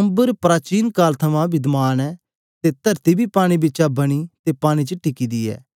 अम्बर प्राचीन काल तो विघमान ऐ अते तरती बी पानी बिचा बनी अते पानी च पक्का ऐ